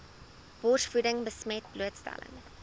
borsvoeding besmet blootstelling